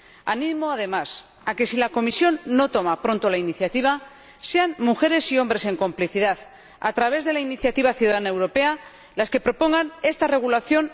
Animo además a que, si la Comisión no toma pronto la iniciativa, sean mujeres y hombres en complicidad, a través de la iniciativa ciudadana europea, los que propongan esta regulación